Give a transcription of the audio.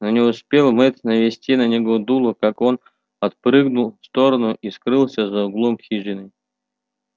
но не успел мэтт навести на него дуло как он отпрыгнул в сторону и скрылся за углом хижины